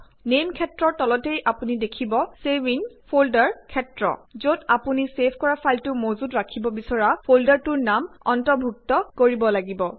name ক্ষেত্ৰৰ তলতেই আপুনি দেখিব ছেভ ইন ফল্ডাৰ ক্ষেত্ৰ যত আপুনি ছেভ কৰা ফাইলটো মজুত ৰাখিব বিছৰা ফল্ডাৰটোৰ নাম অন্তৰ্ভুক্ত কৰিব লাগিব